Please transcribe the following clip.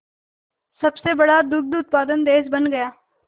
सबसे बड़ा दुग्ध उत्पादक देश बन गया